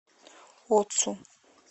оцу